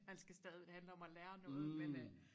Man skal stadig det handler om at lære noget men øh